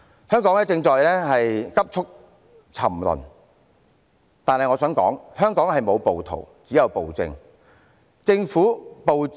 香港正在急速沉淪，但我想指出，香港沒有暴徒，只有暴政。